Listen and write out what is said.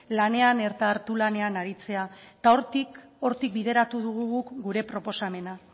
lanean eta hatu lanean aritzea eta hortik bideratu dugu guk gure proposamena